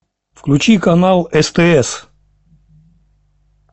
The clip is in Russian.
включи канал стс